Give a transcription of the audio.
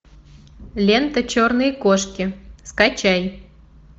лента черные кошки скачай